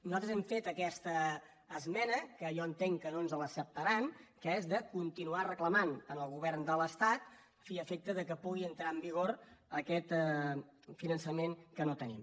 nosaltres hem fet aquesta esmena que jo entenc que no ens l’accepta·ran que és de continuar reclamant al govern de l’es·tat a fi i efecte que pugui entrar en vigor aquest finan·çament que no tenim